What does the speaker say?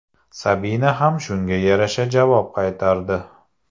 Sabina ham shunga yarasha javob qaytardi.